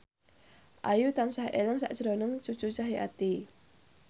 Ayu tansah eling sakjroning Cucu Cahyati